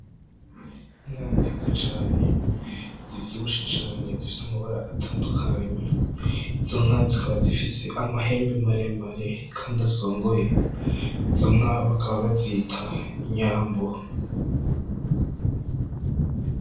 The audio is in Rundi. Inka nziza cane zivyibushe cane zifis'amabara atandukanye, izo nka zikaba zifis'amahembe maremare kandi asongoye, izo nka bakaba bazita inyambo.